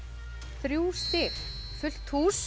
þrjú stig fullt hús